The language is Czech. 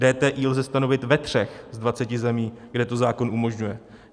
DTI lze stanovit ve 3 z 20 zemí, kde to zákon umožňuje.